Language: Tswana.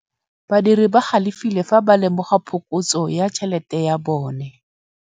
Badiri ba galefile fa ba lemoga phokotsô ya tšhelête ya bone.